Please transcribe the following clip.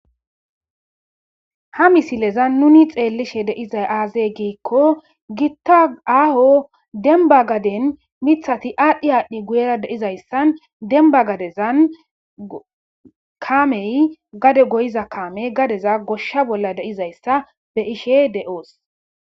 ha misilezan nuni xeellishe deizay aazey giikko giitta aaho demba gaden mithati aadhdhi aadhdhi guyera deizayssan demba gadezan kaamey gade goyiza kaame gadeza goshsha bolla deizayssa be ishe de7oos